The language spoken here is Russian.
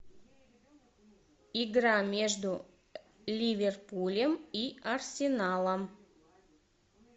игра между ливерпулем и арсеналом